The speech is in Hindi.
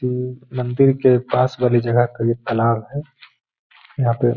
मंदिर के पास वाली जगह का ये तालाब है। यहाँ पे --